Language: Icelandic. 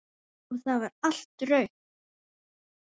Og það var allt rautt.